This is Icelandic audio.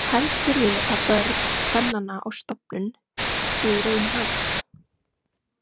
Heldurðu að börn kvennanna á stofnun séu í raun hans?